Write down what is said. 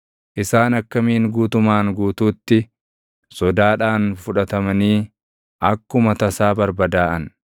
Isaan akkamiin guutumaan guutuutti sodaadhaan fudhatamanii akkuma tasaa barbadaaʼan!